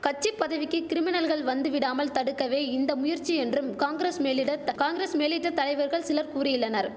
கட்சி பதவிக்கி கிரிமினல்கள் வந்துவிடாமல் தடுக்கவே இந்த முயற்சி என்றும் காங்கிரஸ் மேலிடத்த காங்கிரஸ் மேலிட்ட தலைவர்கள் சிலர் கூறியுள்ளனர்